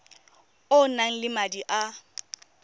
o nang le madi a